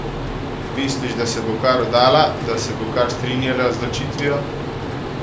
Misliš, da se bo kar vdala, da se bo kar strinjala z ločitvijo?